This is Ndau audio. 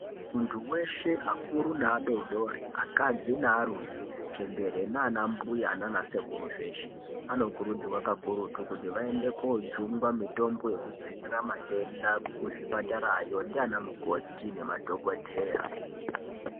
Muntu weshe akuru neadodori akadzi nearume chembere nanambuya nanasekuru zveshe anokurudzirwa kakurutu kuti vaende kojungwa mitombo yekudzivirira matenda kuzvipatarayo ndianamukoti nemadhokodheya.